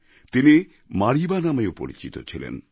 তিনি মারিবা নামেও পরিচিত ছিলেন